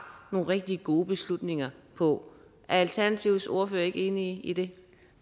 nogle rigtig gode beslutninger på er alternativets ordfører ikke enig i det